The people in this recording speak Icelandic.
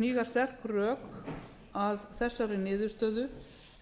hníga sterk rök að þessari niðurstöðu